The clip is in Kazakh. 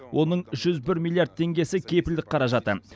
оның жүз бір миллиард теңгесі кепілдік қаражаты